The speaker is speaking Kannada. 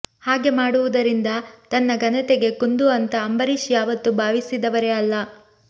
ಹಾಗೆ ಮಾಡುವುದರಿಂದ ತನ್ನ ಘನತೆಗೆ ಕುಂದು ಅಂತ ಅಂಬರೀಷ್ ಯಾವತ್ತೂ ಭಾವಿಸಿದವರೇ ಅಲ್ಲ